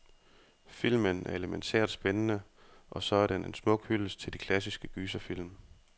Filmen er elemæntært spændende, og så er den en smuk hyldest til de klassiske gyserfilm.